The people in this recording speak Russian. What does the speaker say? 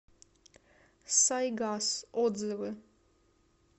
сайгас отзывы